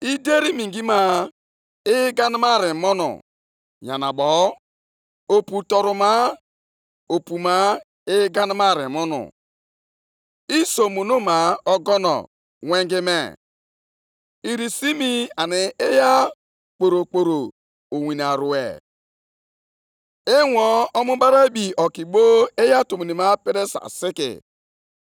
Ọ bụ osimiri, ka gị bụ Onyenwe anyị were iwe megide? Ọnụma gị, ọ dị ukwuu megide iyi niile? Oke iwe gị ọ bụ megide oke osimiri mgbe ị nọkwasịrị nʼelu ịnyịnya gị, nakwa nʼelu ụgbọ ịnyịnya ị wetara ndị nke gị mmeri?